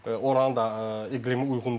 Oranın da iqlimi uyğun deyil də.